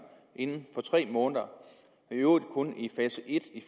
inden for tre måneder i øvrigt kun i fase et i